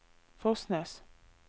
Fosnes